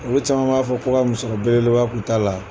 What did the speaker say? Olu caman b'a fɔ ko ka musɔɔrɔ belebeleba k'a la